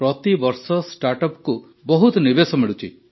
ପ୍ରତିବର୍ଷ ଷ୍ଟାର୍ଟଅପ୍କୁ ବହୁତ ନିବେଶ ମିଳୁଛି